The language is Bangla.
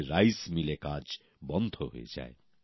তাদের চাল কলে কাজ বন্ধ হয়ে যায়